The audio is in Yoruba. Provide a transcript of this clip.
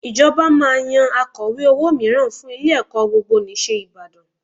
Ìjọba máa yan Akọ̀we owó mìíràn fún ilé-ẹ̀kọ́ Gbogbonìṣe Ìbàdàn